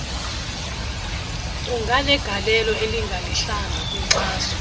kunganegalelo elingelihlanga kwinkxaso